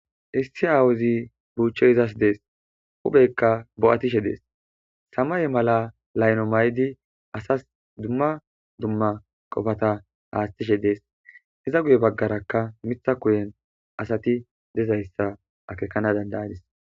issi aawuzi buuchchoy izas dees hubeykka bo7atishe dees sama ye mala layno may7di asas dumma dumma qofata haastishe dees iza guye baggarakka mitha kuyen asati dezayssa akekana dandayadis